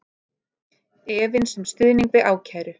Efins um stuðning við ákæru